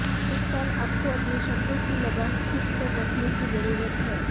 इस साल आपको अपने शब्दों की लगाम खींच कर रखने की जरूरत है